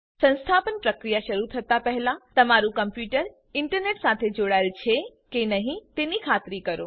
સંસ્થાપન પ્રક્રિયા શરૂ કરતા પહેલાં તમારૂ કમ્પ્યુટર ઇન્ટરનેટ સાથે જોડાયેલ છે કે નહીં તેની ખાતરી કરો